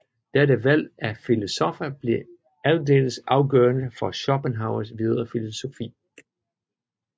Dette valg af filosoffer bliver aldeles afgørende for Schopenhauers videre filosofi